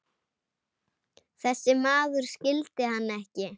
Þessi maður skildi hann ekki.